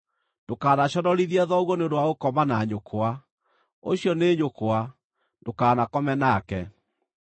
“ ‘Ndũkanaconorithie thoguo nĩ ũndũ wa gũkoma na nyũkwa. Ũcio nĩ nyũkwa; ndũkanakome nake.